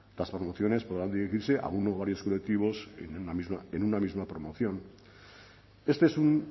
las promociones podrán dirigirse a uno o varios colectivos en una misma promoción este es un